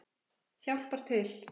Hjálpar til.